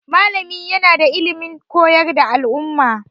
Malami yana da ilimin koyar da al'umma.